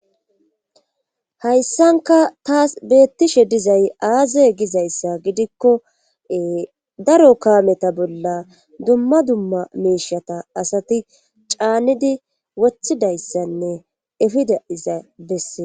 Hayssanka taas beettishe dizay aaze gizayssa gidikko daro kaameta bolla dumma dumma meeshata asati caanidi wothidayssanne efida iza besse